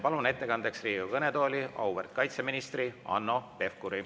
Palun ettekandjaks Riigikogu kõnetooli auväärt kaitseministri Hanno Pevkuri.